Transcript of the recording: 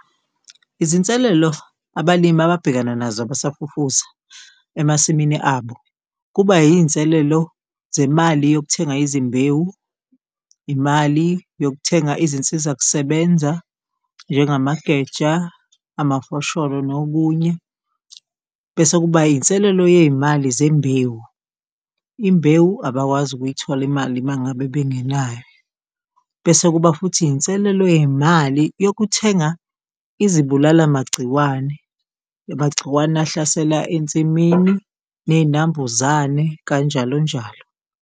Izinselelo abalimi ababhekana nazo abasafufusa emasimini abo kuba iyinselelo zemali yokuthenga izimbewu, imali yokuthenga izinsizakusebenza njengamageja, amafosholo nokunye, bese kuba iyinselelo yeyimali zembewu. Imbewu abakwazi ukuyithola imali uma ngabe bengenayo, bese kuba futhi iyinselelo yeyimali yokuthenga izibulala magciwane, amagciwane ahlasela ensimini neyinambuzane, kanjalo njalo.